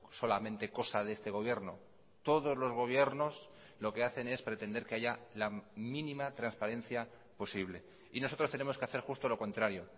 solamente cosa de este gobierno todos los gobiernos lo que hacen es pretender que haya la mínima transparencia posible y nosotros tenemos que hacer justo lo contrario